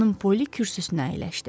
Xanım Polli kürsüsünə əyləşdi.